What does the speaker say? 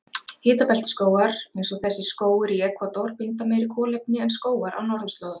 Hitabeltisskógar, eins og þessi skógur í Ekvador, binda meira kolefni en skógar á norðurslóðum.